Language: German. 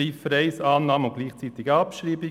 Ziffer 1 Annahme und gleichzeitig Abschreibung.